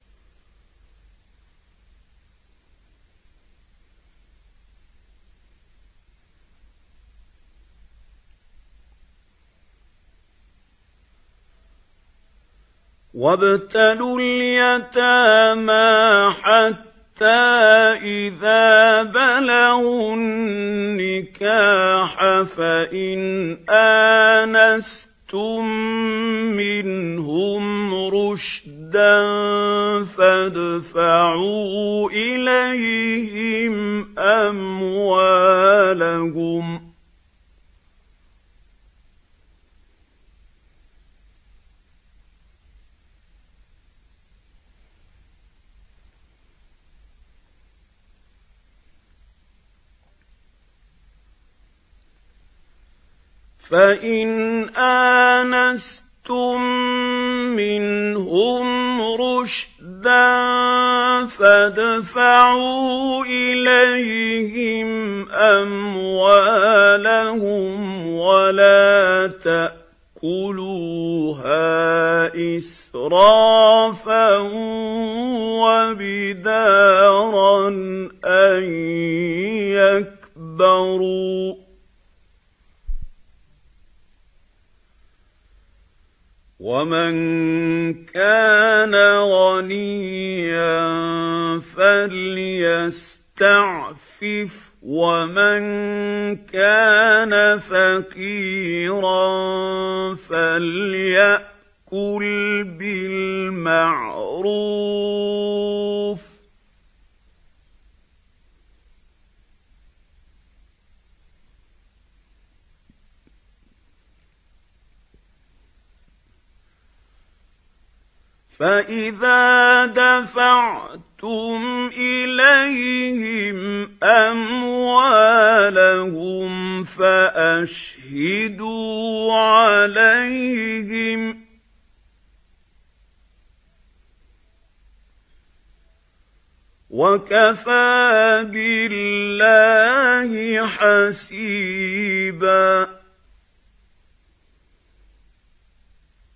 وَابْتَلُوا الْيَتَامَىٰ حَتَّىٰ إِذَا بَلَغُوا النِّكَاحَ فَإِنْ آنَسْتُم مِّنْهُمْ رُشْدًا فَادْفَعُوا إِلَيْهِمْ أَمْوَالَهُمْ ۖ وَلَا تَأْكُلُوهَا إِسْرَافًا وَبِدَارًا أَن يَكْبَرُوا ۚ وَمَن كَانَ غَنِيًّا فَلْيَسْتَعْفِفْ ۖ وَمَن كَانَ فَقِيرًا فَلْيَأْكُلْ بِالْمَعْرُوفِ ۚ فَإِذَا دَفَعْتُمْ إِلَيْهِمْ أَمْوَالَهُمْ فَأَشْهِدُوا عَلَيْهِمْ ۚ وَكَفَىٰ بِاللَّهِ حَسِيبًا